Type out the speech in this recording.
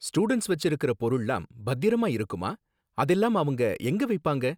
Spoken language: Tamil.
ஸ்டூடண்ட்ஸ் வெச்சுருக்கற பொருள்லாம் பத்திரமா இருக்குமா? அதெல்லாம் அவங்க எங்க வைப்பாங்க?